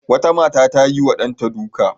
Wata mata ta yiwa ɗanta duka.